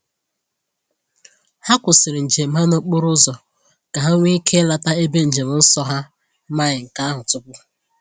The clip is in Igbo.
Ha kwụsịrị njem ha n’okporo ụzọ ka ha nwee ike ileta ebe njem nsọ ha amaghị nke ahụ tupu.